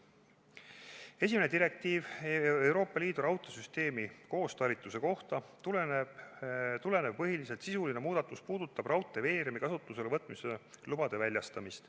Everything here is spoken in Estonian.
Esimesest direktiivist, Euroopa Liidu raudteesüsteemi koostalitluse kohta, tulenev põhiline sisuline muudatus puudutab raudteeveeremi kasutusele võtmise lubade väljastamist.